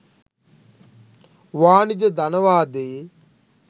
වාණිජ ධනවාදයේ